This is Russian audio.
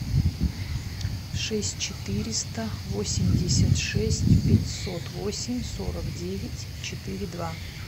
шесть четыреста восемьдесят шесть пятьсот восемь сорок девять четыре два